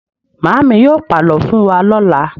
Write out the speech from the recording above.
Màámi yóò pàlọ́ fún wa lọ́la.